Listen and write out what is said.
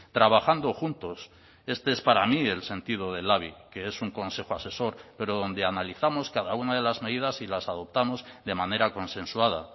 trabajando juntos este es para mí el sentido del labi que es un consejo asesor pero donde analizamos cada una de las medidas y las adoptamos de manera consensuada